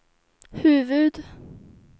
huvud